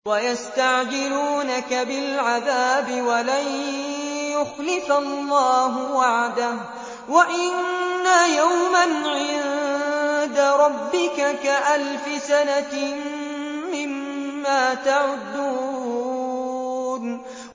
وَيَسْتَعْجِلُونَكَ بِالْعَذَابِ وَلَن يُخْلِفَ اللَّهُ وَعْدَهُ ۚ وَإِنَّ يَوْمًا عِندَ رَبِّكَ كَأَلْفِ سَنَةٍ مِّمَّا تَعُدُّونَ